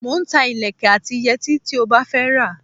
Mo ń ta ìlékè àti ìyètí tí ó bá fẹ́ rà.